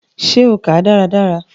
Ṣe o kàá dáradára?